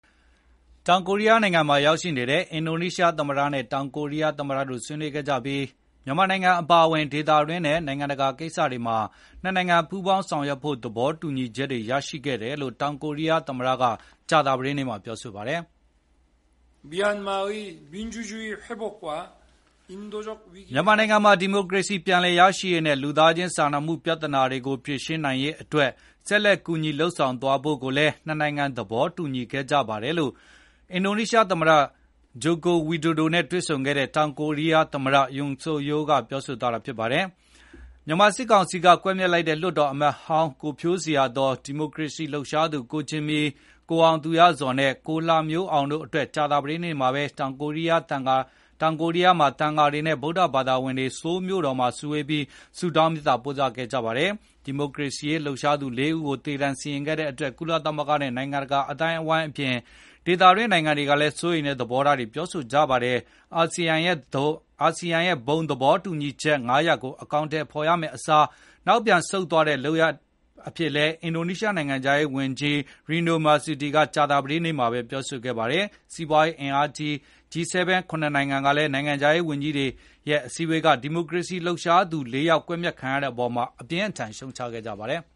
တောင်ကိုရီးယားနိုင်ငံမှာ ရောက်ရှိနေတဲ့ အင်ဒိုနီးရှားသမ္မတနဲ့ တောင်ကိုရီးယားသမ္မတတို့ ဆွေးနွေးခဲ့ကြပြီး မြန်မာနိုင်ငံ အပါအဝင် ဒေသတွင်းနဲ့ နိုင်ငံတကာ ကိစ္စတွေမှာ နှစ်နိုင်ငံ ပူးပေါင်းဆောင်ရွက်ဖို့ သဘောတူညီချက်တွေ ရရှိခဲ့တယ်လို့ တောင်ကိုရီးယား သမ္မတက ကြာသပတေးနေ့မှာ ပြောဆိုပါတယ်။ “မြန်မာနိုင်ငံမှာ ဒီမိုကရေစီ ပြန်လည်ရရှိရေးနဲ့ လူသားချင်း စာနာမှု ပြဿနာတွေကို ဖြေရှင်း နိုင်ရေး အတွက် ဆက်လက်ကူညီ လုပ်ဆောင်သွားဖို့ကိုလည်း နှစ်နိုင်ငံ သဘောတူညီခဲ့ကြပါတယ်” လို့ အင်ဒိုနီးရှားသမ္မတ Joko Widodo နဲ့ တွေ့ဆုံခဲ့တဲ့ တောင်ကိုရီးယားသမ္မတ Yoon Seok-youl ကပြောဆိုသွားတာပါ။ မြန်မာစစ်ကောင်စီက ကွပ်မျက်လိုက်တဲ့ လွှတ်တော်အမတ်ဟောင်း ကိုဖြိုးဇေယျာသော်၊ ဒီမိုကရေစီရေး လှုပ်ရှားသူ ကိုဂျင်မီ၊ ကိုအောင်သူရဇော်နဲ့ ကိုလှမျိုးအောင်တို့အတွက် ကြာသပတေးနေ့မှာပဲ တောင်ကိုရီးယား သံဃာတွေနဲ့ ဗုဒ္ဓဘာသာဝင်တွေ ဆိုးလ်မြို့တော်မှာ စုဝေးပြီး ဆုတောင်းမေတ္တာ ပို့သခဲ့ကြပါတယ်။ ဒီမိုကရေစီရေး လှုပ်ရှားသူ ၄ ဦးကို သေ ဒဏ်စီရင်ခဲ့တဲ့အတွက် ကုလသမဂ္ဂနဲ့ နိုင်ငံတကာ အသိုင်းအဝိုင်းအပြင် ဒေသတွင်း နိုင်ငံတွေကလည်း စိုးရိမ်တဲ့ သဘောထားတွေ ပြောဆိုနေကြတာပါ။ ASEAN ရဲ့ ဘုံသဘောတူညီချက် ၅ ရပ်ကို အကောင်အထည် ဖော်ရမယ့်အစား နောက်ပြန်ဆုတ်တဲ့ လုပ်ရပ်အဖြစ်နဲ့လည်း အင်ဒိုနီးရှားနိုင်ငံခြားရေးဝန်ကြီး Retno Marsudi ကကြာသပတေး နေ့မှာပဲပြောဆိုခဲ့ပါတယ်။ စီးပွားရေး အင်အားကြီး ၇ နိုင်ငံ G-7 နိုင်ငံခြားရေးဝန်ကြီးတွေကလည်း ဒီမိုကရေစီရေး လှုပ်ရှားသူ ၄ ယောက် ကွပ်မျက်ခံရတဲ့အပေါ် အပြင်းအထန် ရှုတ်ချခဲ့ကြပါတယ်။